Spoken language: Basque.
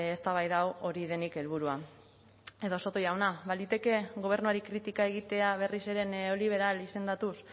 eztabaida hau hori denik helburua edo soto jauna baliteke gobernuari kritika egitea berriz ere neoliberal izendatuz